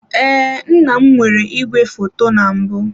Ee, nna m nwere igwefoto na mbụ.